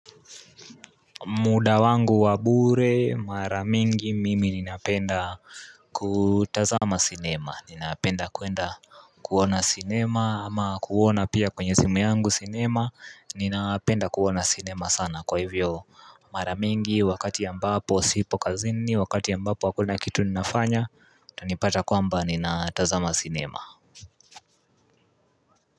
Muda wangu wa bure mara mingi mimi ninapenda kutazama cinema Ninapenda kwenda kuona cinema ama kuona pia kwenye simu yangu cinema Ninapenda kuona cinema sana kwa hivyo mara mingi wakati ambapo sipo kazini Wakati ambapo hakuna kitu ninafanya utanipata kwamba ninatazama cinema.